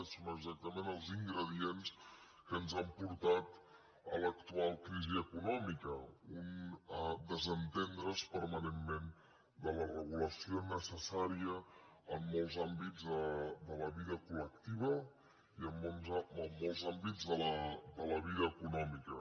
són exactament els ingredients que ens han portat a l’actual crisi econòmica un desentendre’s permanentment de la regulació necessària en molts àmbits de la vida col·en molts àmbits de la vida econòmica